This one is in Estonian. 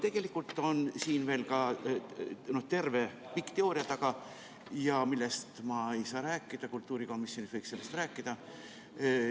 Tegelikult on siin veel terve pikk teooria taga, millest ma ei saa rääkida, kultuurikomisjonis võiks sellest rääkida.